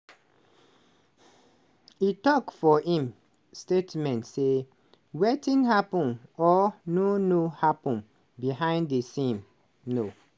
e tok for im statement say "wetin happun or no no happun behind di scenes no